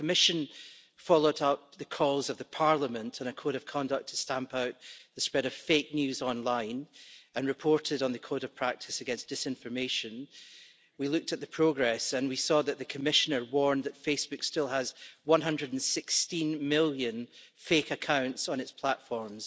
When the Commission followed up Parliament's calls on a code of conduct to stamp out the spread of fake news online and reported on the code of practice against disinformation, we looked at the progress and we saw that the Commissioner warned that Facebook still has 116 million fake accounts on its platforms.